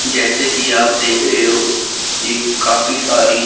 जैसे कि आप देख रहे हो यह काफी सारी--